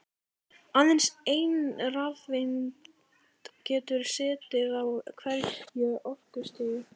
Aðeins ein rafeind getur setið á hverju orkustigi.